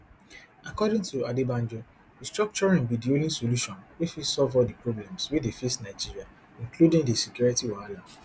according to adebanjo restructuring be di only solution wey fit solve all di problems wey dey face nigeria including di security wahala